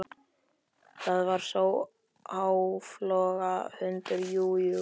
Það var sá áflogahundur, jú, jú.